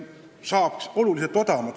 Saaks ka oluliselt odavamalt!